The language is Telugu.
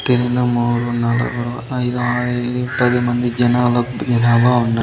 ఒకటి రెండు మూడు నాలుగు ఐదు ఆరు ఏడు పది మంది జనబ జనబ ఉం--